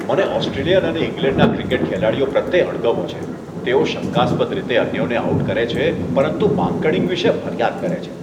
મને ઓસ્ટ્રેલિયન અને ઇંગ્લેન્ડના ક્રિકેટ ખેલાડીઓ પ્રત્યે અણગમો છે, જેઓ તેઓ શંકાસ્પદ રીતે અન્યોને આઉટ કરે છે, પરંતુ માંકડિંગ વિશે ફરિયાદ કરે છે.